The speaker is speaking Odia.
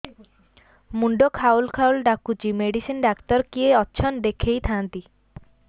ମୁଣ୍ଡ ଖାଉଲ୍ ଖାଉଲ୍ ଡାକୁଚି ମେଡିସିନ ଡାକ୍ତର କିଏ ଅଛନ୍ ଦେଖେଇ ଥାନ୍ତି